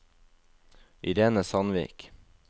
Irene Sandvik